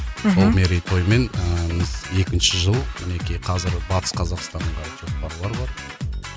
мхм сол мерейтоймен ыыы біз екінші жыл мінекей қазір батыс қазақстанға жоспарлар бар